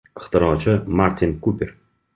Ixtirochi Martin Kuper.